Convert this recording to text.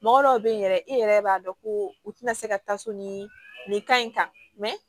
Mɔgɔ dɔw bɛ yen yɛrɛ i yɛrɛ b'a dɔn ko u tɛna se ka taa so ni nin ka ɲi kan